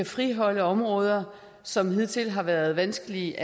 friholde områder som hidtil har været vanskelige